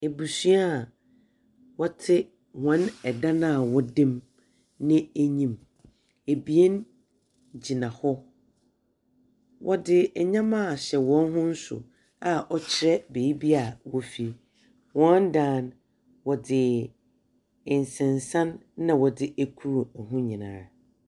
Ebusua a wɔte wɔn ɛdan a wɔdam ne anyim. Ebien gyina hɔ. Wɔdze ɛnyɛma ahyɛ wɔn ho so a ɔkyerɛ beebia wɔfri. Wɔn dan no, wɔdze nsensan na wɔdze akru ɛho nyinaa ara.